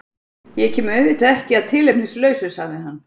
Ég kem auðvitað ekki að tilefnislausu, sagði hann.